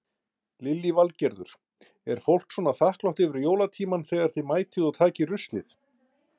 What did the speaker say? Lillý Valgerður: Er fólk svona þakklátt yfir jólatímann þegar þið mætið og takið ruslið?